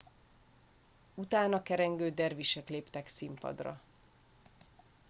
utána kerengő dervisek léptek színpadra